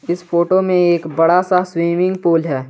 इस फोटो में एक बड़ा सा स्विमिंग पूल है।